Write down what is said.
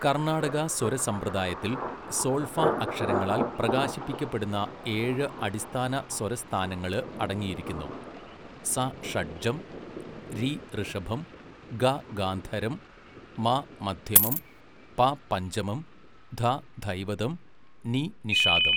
കർണാടക സ്വരസമ്പ്രദായത്തിൽ സോൾഫ അക്ഷരങ്ങളാൽ പ്രകാശിപ്പിക്കപ്പെടുന്ന ഏഴ് അടിസ്ഥാന സ്വരസ്ഥാനങ്ങള് അടങ്ങിയിരിക്കുന്നു, സ ഷഡ്ജം, രി ഋഷഭം, ഗ ഗാന്ധരം, മ മധ്യമം, പ പഞ്ചമം, ധ ധൈവതം, നി നിഷാദം.